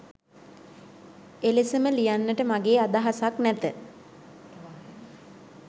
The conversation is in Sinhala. එලෙසම ලියන්නට මගේ අදහසක් නැත.